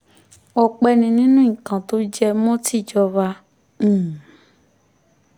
ọpẹ́ ni nínú nǹkan tó jẹ mọ́ tìjọba um